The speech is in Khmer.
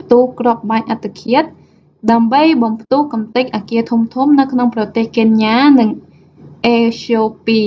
ផ្ទុះគ្រាប់បែកអត្តឃាត ដើម្បីបំផ្ទុះកម្ទេចអគារធំៗនៅក្នុងប្រទេសកេនយ៉ា និងអេត្យូពី